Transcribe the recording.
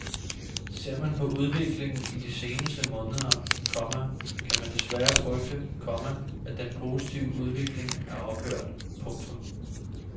Ser man på udviklingen i de seneste måneder, komma kan man desværre frygte, komma at den positive udvikling er ophørt. punktum